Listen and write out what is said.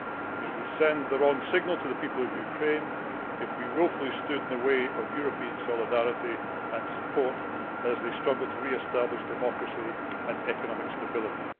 It would send the wrong signal to the people of Ukraine if we wilfully stood in the way of European solidarity and support as they struggle to re establish democracy and economic stability.